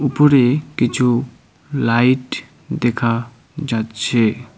উপরে কিছু লাইট দেখা যাচ্ছে।